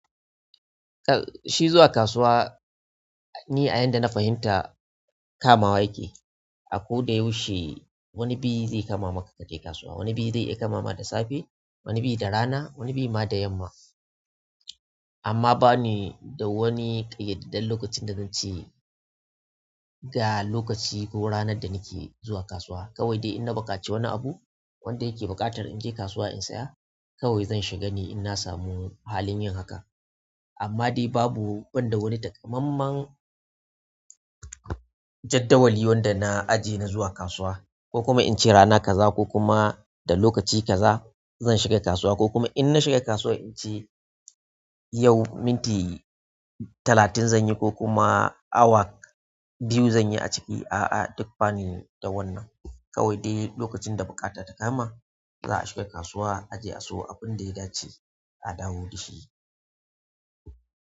Shi zuwa kasuwa, ni a yanda na fahimta kamawa yake. A ko da yaushe wani biye zai kama maka ka je kasuwa. Wani bi zai iya kama ma da safe, wani bi da rana, wani bi ma da yamma. Amma bani da wani kayyadadden lokacin da zance ga lokaci ko kuma ranar da nake zuwa kasuwa kawai dai in na buƙaci wani abu wanda yake buƙatar in je kasuwa in saya, kawai zan shiga ne in na samu halin yin haka. Amma dai babu ban da wani takamaiman jadawali wanda na aje na zuwa kasuwa ko kuma in ce rana kaza ko kuma da lokaci kaza zan shiga kasuwa ko kuma in na shiga kasuwa in ce yau minti talatin zan yi ko kuma awa biyu zan yi aciki. A'a, duk bani da wannan. Kawai dai lokacin da buƙata ta kama za a shiga kasuwa a je a siyo abinda ya dace a dawo da shi.